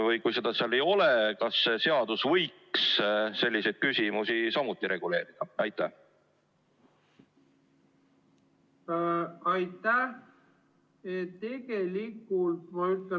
Või kui seda seal ei ole, siis kas see seadus võiks selliseid küsimusi samuti reguleerida?